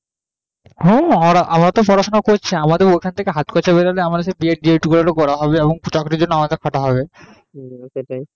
হ্যাঁ আমরা তো পড়া শুনা করছি আমাদের ওখান থেকে হাত খরছা বেরহলে B. ED, D. ED করা হবে চাকরি যদি না পাই তবে পড়া হবে